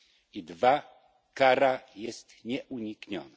I dwa kara jest nieunikniona.